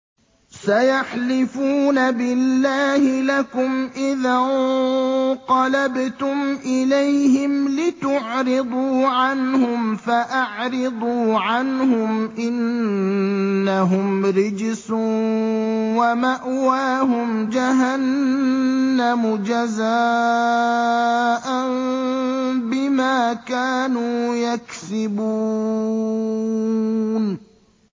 سَيَحْلِفُونَ بِاللَّهِ لَكُمْ إِذَا انقَلَبْتُمْ إِلَيْهِمْ لِتُعْرِضُوا عَنْهُمْ ۖ فَأَعْرِضُوا عَنْهُمْ ۖ إِنَّهُمْ رِجْسٌ ۖ وَمَأْوَاهُمْ جَهَنَّمُ جَزَاءً بِمَا كَانُوا يَكْسِبُونَ